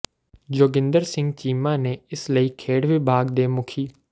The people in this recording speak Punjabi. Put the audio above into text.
ਜੋਗਿੰਦਰ ਸਿੰਘ ਚੀਮਾ ਨੇ ਇਸ ਲਈ ਖੇਡ ਵਿਭਾਗ ਦੇ ਮੁੱਖੀ ਡਾ